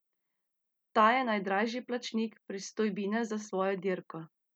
Ta je najdražji plačnik pristojbine za svojo dirko.